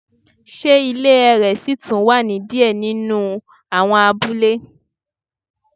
Se ile ẹrẹ si tun wa ni diẹ ninu awọn abule